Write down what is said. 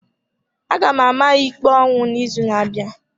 A ga-ama ya ikpe ọnwụ n’izu na-abịa.